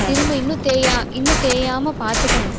திரும்ப, இன்னும் தேயா~ இன்னும் தேயாம பாத்துக்கணும்